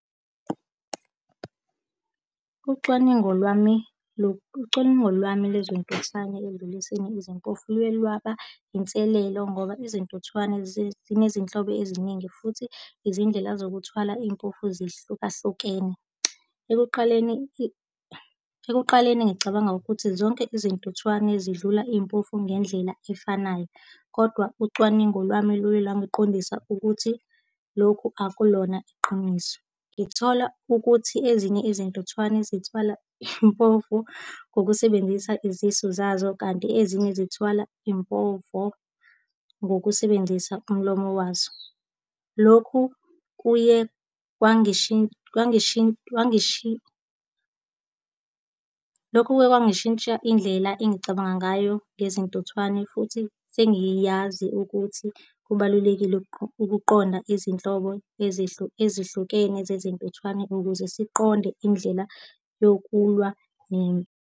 Ucwaningo lwami ucwaningo lwami lezintuthwane ekudluliseni kwezimpovu luye lwaba inselelo ngoba izintuthwane zinezinhlobo eziningi futhi izindlela zokuthwala impovu zihlukahlukene. Ekuqaleni Ekuqaleni ngicabanga ukuthi zonke izintuthwane zidlula iy'mpovu ngendlela efanayo kodwa ucwaningo lwami luyi la ngiqondisisi ukuthi lokhu akulona iqiniso. Ngithola ukuthi ezinye izintuthwane zithwala impovu ngokusebenzisa izisu zazo kanti ezinye zithwala impovo ngokusebenzisa umlomo wazo. Lokhu kuye lokhu kuye kwangishintsha indlela engicabanga ngayo ngezintuthwane, futhi sengiyazi ukuthi kubalulekile ukuqonda izinhlobo ezihlukene zezintuthwane ukuze siqonde indlela yokulwa ne.